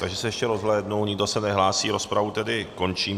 Takže se ještě rozhlédnu, nikdo se nehlásí, rozpravu tedy končím.